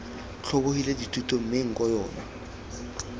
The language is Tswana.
tlhobogile dithuto mme nko yona